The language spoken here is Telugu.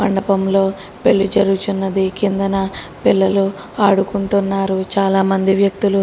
మండపంలో పెళ్లి జరుగుచున్నది కిందన పిల్లలు ఆడుకుంటున్నారు చాలా మంది వ్యక్తులు--